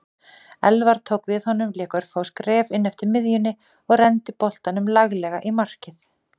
Elfar tók við honum lék örfá skref inneftir miðjunni og renndi boltanum laglega í markið.